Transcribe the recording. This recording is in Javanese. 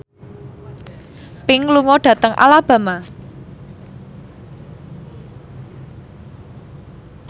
Pink lunga dhateng Alabama